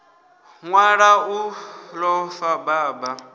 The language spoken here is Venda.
nḓala u ḓo fa baba